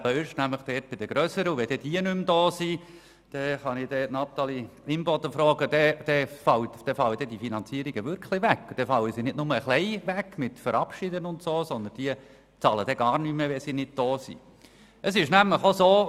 Wenn die Grösseren nicht mehr im Kanton sind, dann fallen die Finanzierungen wirklich weg und zwar nicht nur ein wenig, sondern diese bezahlen dann gar nichts mehr, Grossrätin Imboden.